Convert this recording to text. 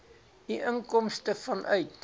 u inkomste vanuit